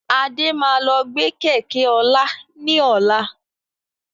Adé máa lọ gbe Kẹ̀kẹ́ ọlá ni ọ̀la.